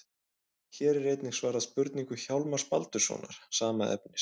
Hér er einnig svarað spurningu Hjálmars Baldurssonar, sama efnis.